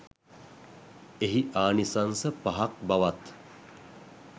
එහි ආනිසංස පහක් බවත්